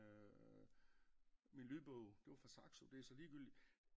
Min lydbog det var fra Saxo det er så ligegyldigt